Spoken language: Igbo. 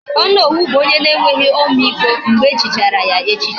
Onowu bu onye na enweghi ọmịiko, mgbe echichara ya echichi